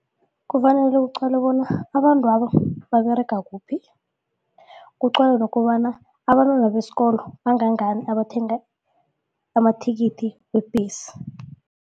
Kufanele kuqalwe bona abantwabo baberega kuphi kuqalwe nokobana abantwana besikolo bangangani abathenga amathikithi webhesi.